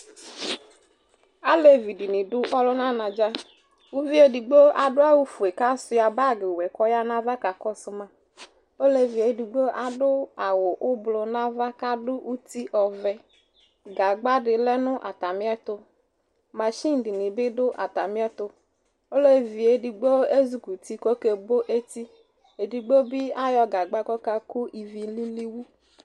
alevi dini dʋ ɔlʋna na dza kʋ ʋviɛ ɛdigbo adʋ awʋ fuɛ ka swiya bagi wɛ kʋ oya nava ka Kʋsʋma olɛviɛ ɛdigbo adʋ awʋ ʋblɔ nava ka adu uti ɔbɛ gagba di lɛ nʋ atani ɛtʋ machine dini bi dʋ atani ɛtʋ olɛviɛ ɛdigbo ɛzʋkʋti kʋ okɛ bo ɛti ɛdigbo bi ayɔ gagba kɔ ka kʋ ivi lili wʋ